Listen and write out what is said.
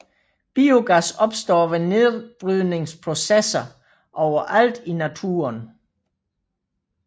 Biogas opstår ved nedbrydningsprocesser overalt i naturen